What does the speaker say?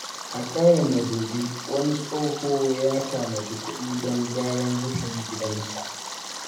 A ƙauyen Madobi, wani tsoho ya tanadi kuɗi don gyaran rufin gidansa.